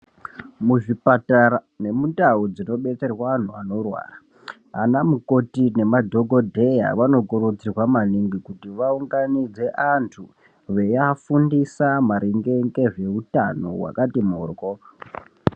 Muzvipatara nemundau dzino betserwa antu anorwara ana mukoti nemadhokodheya anokurudzirwa kuti vaunganidze antu veiafundisa maringe nezveutano wakati morwo.